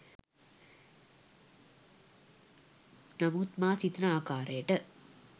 නමුත් මා සිතන ආකාරයට